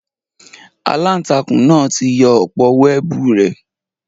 Àlàntakùn náa ti yọ òpó wẹẹbu rẹ